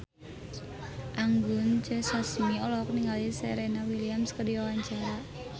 Anggun C. Sasmi olohok ningali Serena Williams keur diwawancara